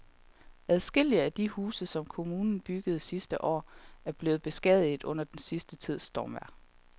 Adskillige af de huse, som kommunen byggede sidste år, er blevet beskadiget under den sidste tids stormvejr.